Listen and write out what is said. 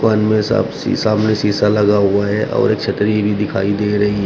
शीशा में शीशा लगा हुआ है और एक छतरी भी दिखाई दे रही है।